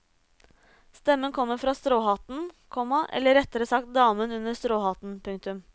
Stemmen kommer fra stråhatten, komma eller rettere sagt damen under stråhatten. punktum